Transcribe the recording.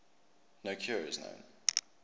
no cure is known